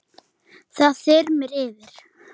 Margar þverár falla til Jöklu.